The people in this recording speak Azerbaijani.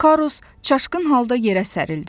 Karus çaşqın halda yerə sərildi.